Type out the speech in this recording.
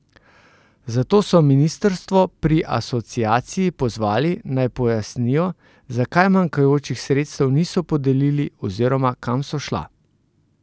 Zato so ministrstvo pri Asociaciji pozvali, naj pojasnijo, zakaj manjkajočih sredstev niso podelili oziroma, kam so šla?